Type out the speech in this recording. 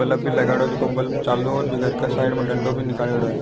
Bulb भी लागेड़ो है जेका बल्ब चालू है और घर का साइड में डंडा भी निकालेडो है।